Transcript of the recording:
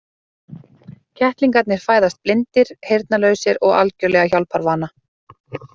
Kettlingarnir fæðast blindir, heyrnarlausir og algjörlega hjálparvana.